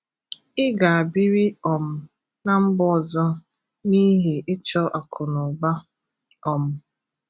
ị ga bịri um na mba ọzọ n'ihi ichọ akụ na ụba. um